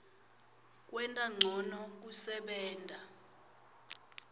kwenta ncono kusebenta